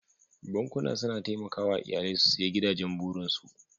Bankuna suna taimakawa iyalai su siya gidajen burinsu.